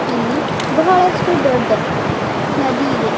ಇಲ್ಲಿ ಬಹಳಷ್ಟು ದೊಡ್ಡ ನದಿ ಇದೆ.